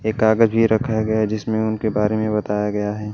ये कागज भी रखा गया जिसमें उनके बारे में बताया गया है।